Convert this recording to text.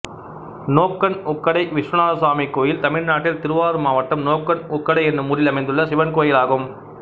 நோக்கன் உக்கடை விஸ்வநாதசுவாமி கோயில் தமிழ்நாட்டில் திருவாரூர் மாவட்டம் நோக்கன் உக்கடை என்னும் ஊரில் அமைந்துள்ள சிவன் கோயிலாகும்